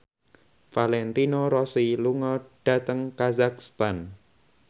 Valentino Rossi lunga dhateng kazakhstan